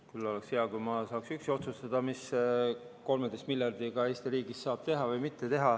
Küll oleks hea, kui ma saaks üksi otsustada, mis 13 miljardiga Eesti riigis teha saab.